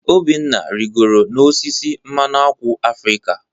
Obinna rịgoro n'osisi mmanụ ákwà Afrịka.